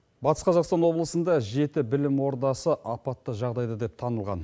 батыс қазақстан облысында жеті білім ордасы апатты жағдайда деп танылған